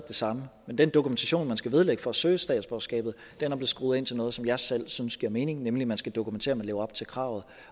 det samme men den dokumentation man skal vedlægge for at søge statsborgerskabet er blevet skruet ind til noget som jeg selv synes giver mening nemlig at man skal dokumentere at man lever op til kravet